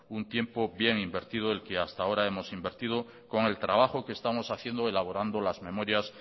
un tiempo bien invertido el que hasta ahora hemos invertido con el trabajo que estamos haciendo elaborando las memorias